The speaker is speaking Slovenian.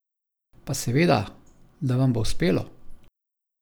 Pa seveda, da vam bo uspelo!